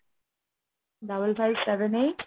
double five seven eight